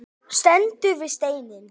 Stendur við steininn.